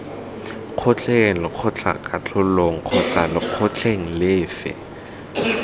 kgotleng lekgotlakatlholong kgotsa lekgotleng lefe